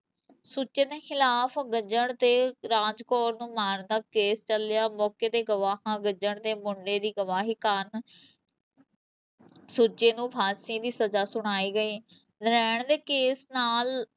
ਸੁੱਚੇ ਦੇ ਖਿਲਾਫ਼ ਗੱਜਣ ਤੇ ਰਾਜ ਕੌਰ ਨੂੰ ਮਾਰਨ ਦਾ ਕੇਸ ਚੱਲਿਆ ਮੌਕੇ ਤੇ ਗਵਾਹਾਂ ਗੱਜਣ ਦੇ ਮੁੰਡੇ ਦੀ ਗਵਾਹੀ ਕਾਰਨ ਸੁੱਚੇ ਨੂੰ ਫ਼ਾਸ਼ੀ ਦੀ ਸਜ਼ਾ ਸੁਣਾਈ ਗਈ, ਨਰੈਣ ਦੇ ਕੇਸ ਨਾਲ